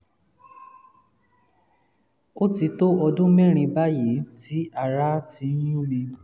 ó ti tó ọdún mẹ́rin báyìí tí ará um ti ń yún mi um